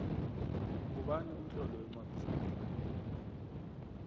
ngubani umtloli wencwadi zamahlaya